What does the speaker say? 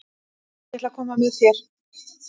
Ég ætla að koma með þér!